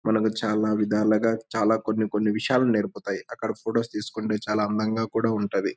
మన చాల విధాలుగా చాల కొన్ని కొన్ని విషయాలు నేర్పుతాయి.అక్కడ ఫొటోస్ తీసుకుంటే చాల అందంగా కూడా ఉంటది.